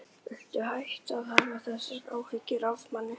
Viltu hætta að hafa þessar áhyggjur af manni!